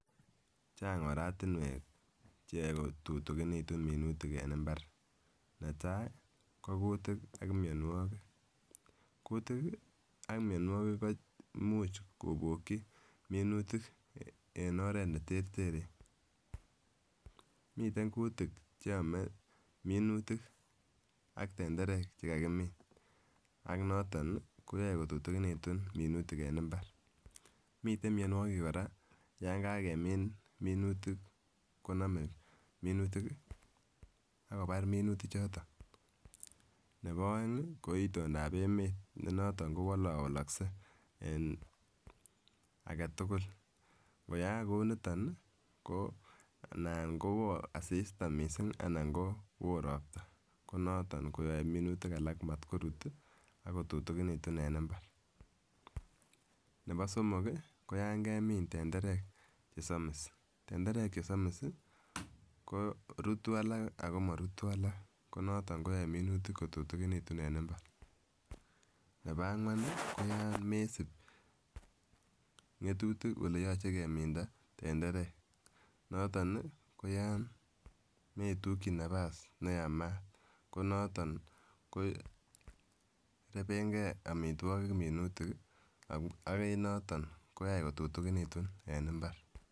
Chang ortinwek cheyoe kotutukinitun minutik en imbar, netai ko kutik ab mionwokik, kutik ab mionwokik koimuch koboki minutik en oret neterteren miten kutik cheome minutik aK tenderek chekakimin ak noton nii koyoe kotutukinitun minutik en imbaret. Miten mionwokik Koraa yon kakemin minutik konome minutik kii ak kobar minutik choton, nebo oengi ko itondap emet me noton kowolowolokse en aketukul nkoyaak kou niton ni anan kowoo asista missing anan ko woo ropta ko noton koyoe minutik alak motkorut tii ak kotutukinitun en imbaret. Nebo somok kii ko yon kemin tenderek chesomiss tenderek chesomiss sii ko rutu alak komorutu alak noton koyoe minutik kotutukinitun en imbaret, nebo angwan koyon mesib ngotutik ole yoche keminda tenderek noton nii koyon metuki nafas neyamat ko noton korepen gee omitwokik minutik kii ak en noton koyoe kotutukinitun en imbar.